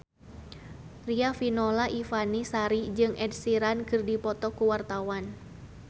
Riafinola Ifani Sari jeung Ed Sheeran keur dipoto ku wartawan